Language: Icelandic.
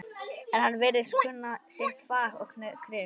En hann virðist kunna sitt fag og kryf